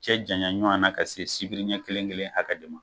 Cɛ janya ɲɔgɔnna ka se sibiriɲɛ kelen kelen hakɛ de ma.